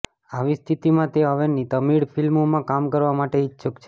આવી સ્થિતિમાં તે હવે તમિળ ફિલ્મોમાં કામ કરવા માટે ઇચ્છુક છે